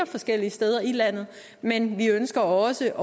forskellige steder i landet men vi ønsker også